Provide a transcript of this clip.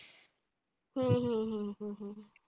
हम्म हम्म हम्म